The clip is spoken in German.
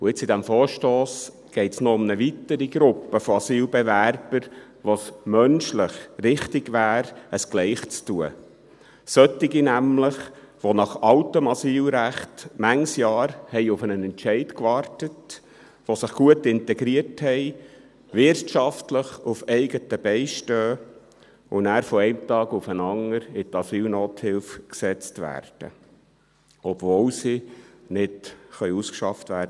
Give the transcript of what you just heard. Jetzt, in diesem Vorstoss, geht es noch um eine weitere Gruppe von Asylbewerbern, bei der es menschlich richtig wäre, es gleichermassen zu tun, solche nämlich, die nach altem Asylrecht viele Jahre auf einen Entscheid gewartet haben, die sich gut integriert haben, wirtschaftlich auf eigenen Beinen stehen und danach von einem Tag auf den anderen in die Asylnothilfe gesetzt werden, obwohl sie – im Moment – nicht ausgeschafft werden.